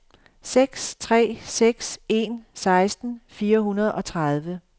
seks tre seks en seksten fire hundrede og tredive